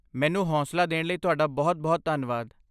ਮੈਨੂੰ ਹੌਂਸਲਾ ਦੇਣ ਲਈ ਤੁਹਾਡਾ ਬਹੁਤ ਧੰਨਵਾਦ